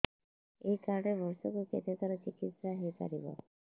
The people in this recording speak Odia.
ଏଇ କାର୍ଡ ରେ ବର୍ଷକୁ କେତେ ଥର ଚିକିତ୍ସା ହେଇପାରିବ